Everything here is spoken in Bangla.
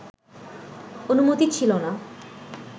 অনুমতি ছিলো না